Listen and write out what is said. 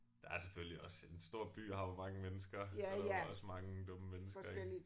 Der er selvfølgelig også en stor by har jo mange mennesker så også mange dumme mennesker ik